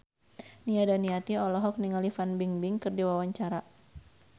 Nia Daniati olohok ningali Fan Bingbing keur diwawancara